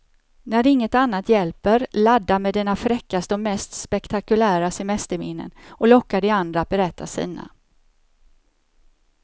När inget annat hjälper, ladda med dina fräckaste och mest spektakulära semesterminnen och locka de andra att berätta sina.